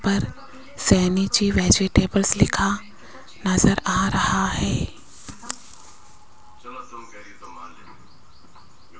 पर सहनी जी वेजिटेबल्स लिखा नजर आ रहा है।